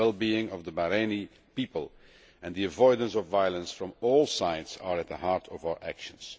The wellbeing of the Bahraini people and the avoidance of violence from all sides are at the heart of our actions.